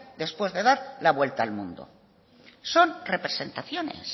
después de dar la vuelta al mundo son representaciones